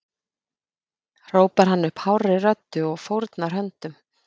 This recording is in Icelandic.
hrópar hann upp hárri röddu og fórnar höndum.